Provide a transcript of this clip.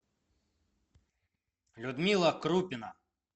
людмила крупина